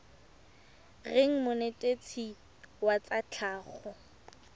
reng monetetshi wa tsa tlhago